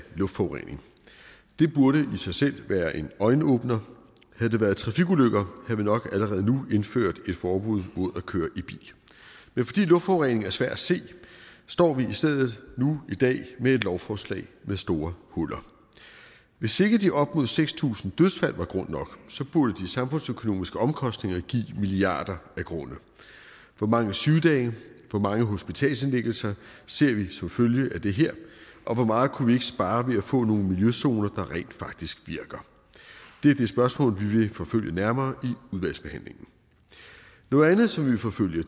luftforurening det burde i sig selv være en øjenåbner havde det været trafikulykker havde vi nok allerede nu indført et forbud mod at køre i bil fordi luftforurening er svær at se står vi nu i stedet i dag med et lovforslag med store huller hvis ikke de op mod seks tusind dødsfald var grund nok burde de samfundsøkonomiske omkostninger give milliarder af grunde hvor mange sygedage hvor mange hospitalsindlæggelser ser vi som følge af det her og hvor meget kunne vi ikke spare ved at få nogle miljøzoner der rent faktisk virker det er de spørgsmål vi vil forfølge nærmere udvalgsbehandlingen noget andet som vi vil forfølge